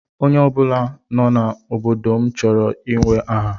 Onye ọ bụla nọ n'obodo m chọrọ inwe aha.